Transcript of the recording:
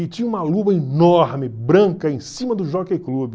E tinha uma lua enorme, branca, em cima do Jockey Club.